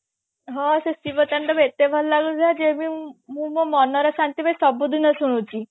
ହଁ ସେ ଶିବ ତାଣ୍ଡବ ଏତେ ଭଲ ଲାଗିଥିଲା ଯେ ମୁଁ ମୋ ମନର ଶାନ୍ତି ପାଇଁ ସବୁ ଦିନ ଶୁଣୁଛି